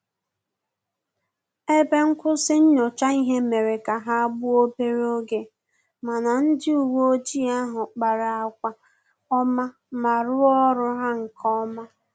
Ebe nkwụsị nyocha ihe mere ka ha gbuo obere oge, mana ndị uwe ojii ahụ kpara agwa ọma ma rụọ ọrụ ha nkeọma